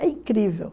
É incrível.